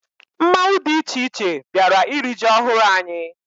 Mmanwụ dị iche iche bịara iri ji ọhụrụ anyị.